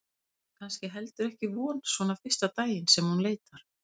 Það er kannski heldur ekki von svona fyrsta daginn sem hún leitar.